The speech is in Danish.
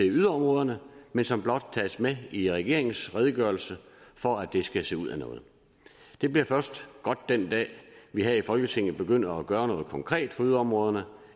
yderområderne men som blot tages med i regeringens redegørelse for at det skal se ud af noget det bliver først godt den dag vi her i folketinget begynder at gøre noget konkret for yderområderne